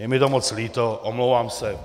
Je mi to moc líto, omlouvám se.